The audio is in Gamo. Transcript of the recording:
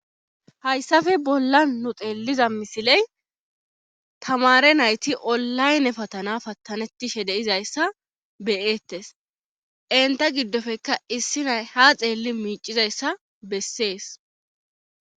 Hayssafe bolla nu xeelliza misiley tamare nayti olayne patana pattanetishe deizayssa beyettes inta giddofekka issi nay ha xeelli miicizayssa bessees